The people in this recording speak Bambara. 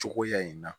Cogoya in na